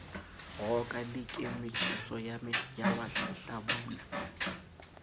roka le ke motjheso walehlabula